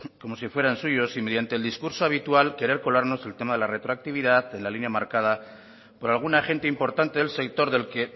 como si fueran suyos y mediante el discurso habitual querer colarnos el tema de la retroactividad en la línea marcada por algún agente importante del sector del que